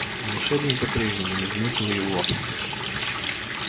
волшебник по-прежнему не заметил его